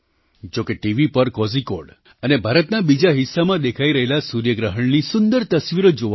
જોકે ટીવી પર કૉઝિકૉડ અને ભારતના બીજા હિસ્સામાં દેખાઈ રહેલા સૂર્યગ્રહણની સુંદર તસવીરો જોવા મળી